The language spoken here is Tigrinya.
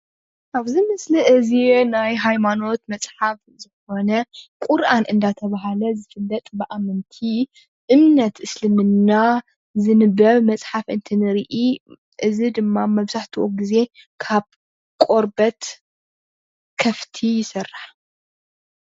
ኣብዚ ምስሊ እዚ ናይ ሃይማኖት መፅሓፍ ዝኮነ ቁርኣን ዳተብሃለ ዝፍለጥ ብኣመንቲ እምነት እስልምና ዝንበብ መፅሓፍ እንትንርኢ እዚ ድማ መብዛሕትኡ ግዘ ካብ ቆርበት ከፍቲ ይስራሕ።